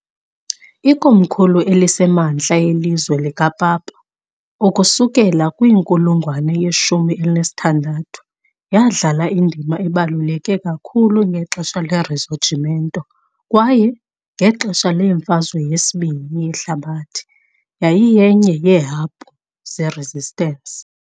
Ikomkhulu eliseMantla yeLizwe likaPapa ukusukela kwinkulungwane yeshumi elinesithandathu , yadlala indima ebaluleke kakhulu ngexesha leRisorgimento kwaye, ngexesha leMfazwe yesibini yeHlabathi, yayiyenye yeehabhu zeResistance .